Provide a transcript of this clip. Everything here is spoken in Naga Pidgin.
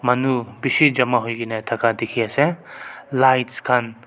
manu bishi jama hoi ke na thaka dikhi ase lights khan--